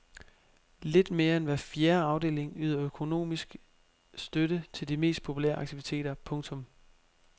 Lidt mere end hver fjerde afdeling yder økonomiske støtte til de mest populære aktiviteter. punktum